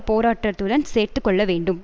போராட்டத்துடன் சேர்த்து கொள்ள வேண்டும்